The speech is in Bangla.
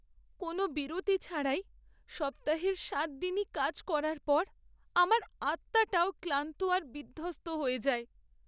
কোনও বিরতি ছাড়াই সপ্তাহের সাত দিনই কাজ করার পর আমার আত্মাটাও ক্লান্ত আর বিধ্বস্ত হয়ে যায়।